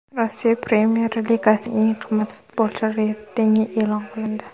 Rossiya Premyer Ligasining eng qimmat futbolchilari reytingi e’lon qilindi.